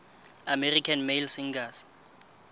american male singers